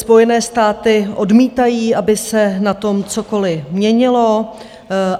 Spojené státy odmítají, aby se na tom cokoli měnilo.